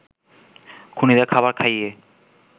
খুনীদের খাবার খাইয়ে